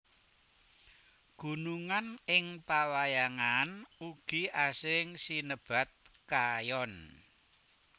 Gunungan ing pawayangan ugi asring sinebat Kayon